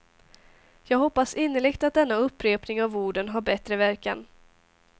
Jag hoppas innerligt att denna upprepning av orden har bättre verkan.